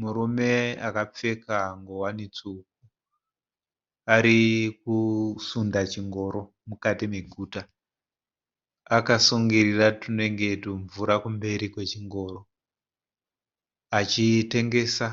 Murume akapfeka ngowani tsvuku. Arikusunda chingoro mukati meguta. Akasungurira tunenge tumvura kumberi kwechingoro. Achitengesa